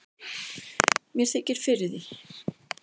Mér þykir fyrir því.